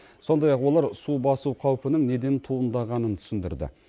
сондай ақ олар су басу қаупінің неден туындағанын түсіндірді